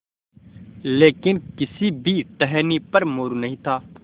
लेकिन किसी भी टहनी पर मोरू नहीं था